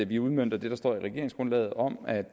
vi udmønter det der står i regeringsgrundlaget om at